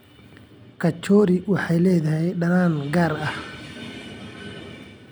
Kachori waxay leedahay dhadhan gaar ah.